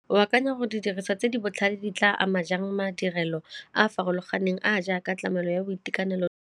O akanya gore di diriswa tse di botlhale di tla ama jang madirelo a a farologaneng a jaaka tlamelo ya boitekanelo?